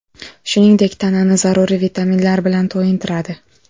Shuningdek, tanani zaruriy vitaminlar bilan to‘yintiradi.